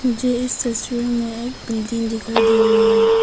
मुझे इस तस्वीर मे एक बिल्डिंग दिखाई दे रही है।